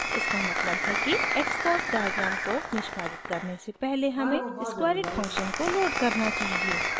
इसका मतलब है कि xcos डायग्राम को निष्पादित करने से पहले हमें squareit फंक्शन को लोड करना चाहिए